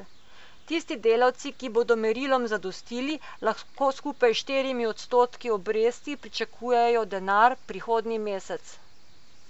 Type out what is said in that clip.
Tisti delavci, ki bodo merilom zadostili, lahko skupaj s štirimi odstotki obresti pričakujejo denar prihodnji mesec.